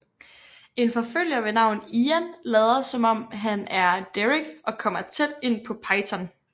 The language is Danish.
En forfølger ved navn Ian lader som om han er Derek og kommer tæt ind på Peyton